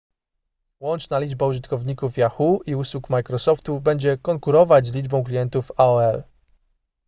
łączna liczba użytkowników yahoo i usług microsoftu będzie konkurować z liczbą klientów aol